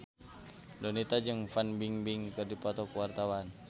Donita jeung Fan Bingbing keur dipoto ku wartawan